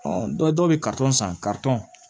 dɔw bɛ san